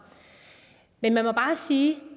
men vi må bare sige